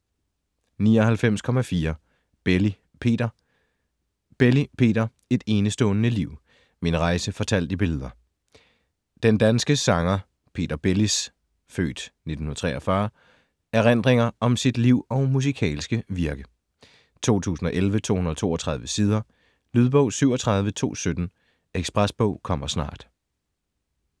99.4 Belli, Peter Belli, Peter: Et enestående liv: min rejse fortalt i billeder Den danske sanger Peter Bellis (f. 1943) erindringer om sit liv og musikalske virke. 2011, 232 sider. Lydbog 37217 Ekspresbog - kommer snart